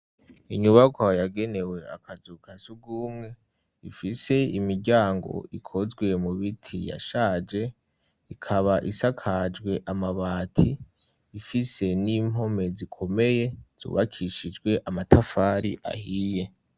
Inyubakwa yagenewe akazu ka sugwumwe. Ifise imiryango ikozwe mu biti yashaje, ikaba isakajwe amabati. Ifise n'impome zikomeye zubakishijwe amatafari ahiye.